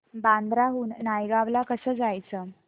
बांद्रा हून नायगाव ला कसं जायचं